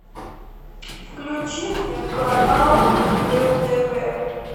включи мне канал кхл тв